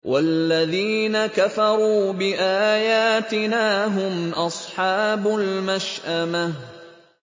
وَالَّذِينَ كَفَرُوا بِآيَاتِنَا هُمْ أَصْحَابُ الْمَشْأَمَةِ